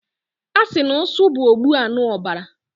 asi na usu bu ogbuanuobara